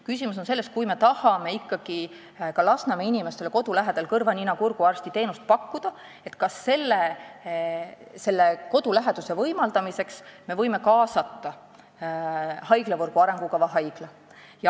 Küsimus on selles, et kui me tahame ikkagi ka Lasnamäe inimestele kodu lähedal kõrva-nina-kurguarsti teenust pakkuda, siis kas me võime selle võimaldamiseks kaasata haiglavõrgu arengukava haigla.